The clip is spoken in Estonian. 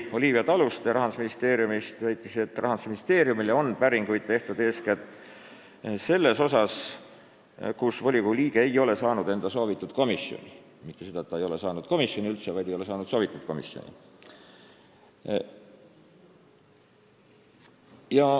Olivia Taluste Rahandusministeeriumist väitis, et Rahandusministeeriumile on päringuid tehtud eeskätt selle kohta, et volikogu liige ei ole saanud enda soovitud komisjoni, mitte selle kohta, et ta ei ole üldse komisjoni liikmeks pääsenud, vaid ta ei ole saanud soovitud komisjoni.